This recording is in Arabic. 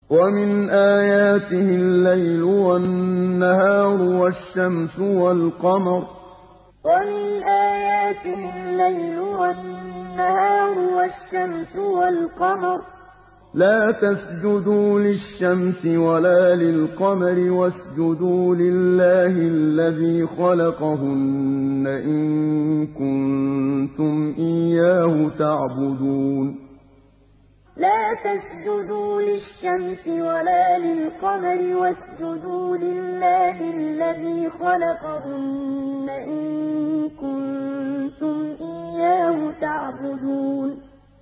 وَمِنْ آيَاتِهِ اللَّيْلُ وَالنَّهَارُ وَالشَّمْسُ وَالْقَمَرُ ۚ لَا تَسْجُدُوا لِلشَّمْسِ وَلَا لِلْقَمَرِ وَاسْجُدُوا لِلَّهِ الَّذِي خَلَقَهُنَّ إِن كُنتُمْ إِيَّاهُ تَعْبُدُونَ وَمِنْ آيَاتِهِ اللَّيْلُ وَالنَّهَارُ وَالشَّمْسُ وَالْقَمَرُ ۚ لَا تَسْجُدُوا لِلشَّمْسِ وَلَا لِلْقَمَرِ وَاسْجُدُوا لِلَّهِ الَّذِي خَلَقَهُنَّ إِن كُنتُمْ إِيَّاهُ تَعْبُدُونَ